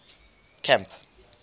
camp